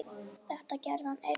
Þetta gerði hann einn.